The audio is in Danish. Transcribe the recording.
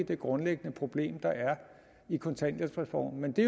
det grundlæggende problem der er i kontanthjælpsreformen men det